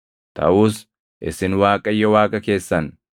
Taʼus isin Waaqayyo Waaqa keessan